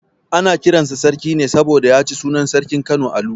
Ana kiran sa Sarki ne saboda ya ci sunan sarkin Kano Alu.